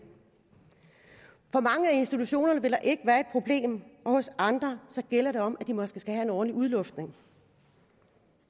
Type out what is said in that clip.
for mange af institutionerne vil der ikke være et problem og hos andre gælder det om at de måske skal have en årlig udluftning